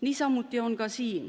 Niisamuti on ka siin.